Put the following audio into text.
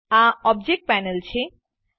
આ object panel છે